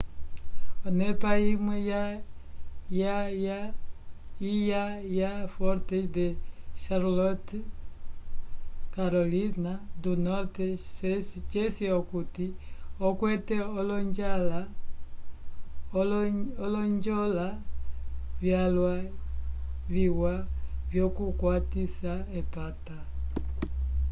onepa imwe iwa ya fortes de charlotte carolina do norte ceci okuti okwete olonjola vyalwa viwa vyokukwatisa epata